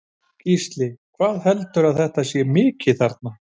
Gísli: Hvað heldurðu að þetta sé mikið þarna?